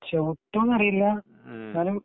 ചവിട്ടുമോ എന്നറിയില്ല എന്നാലും